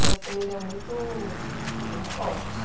É uma família muito muito forte.